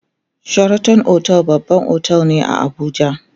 sheraton otel babban otel ne a Abuja